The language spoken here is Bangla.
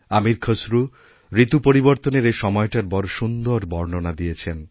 আমীর খসরু ঋতুপরিবর্তনের এই সময়টার বড় সুন্দর বর্ণনা দিয়েছেন